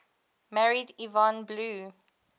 married yvonne blue